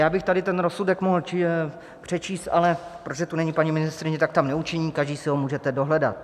Já bych tady ten rozsudek mohl přečíst, ale protože tu není paní ministryně, tak tak neučiním, každý si ho můžete dohledat.